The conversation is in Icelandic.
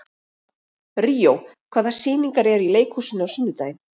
Ríó, hvaða sýningar eru í leikhúsinu á sunnudaginn?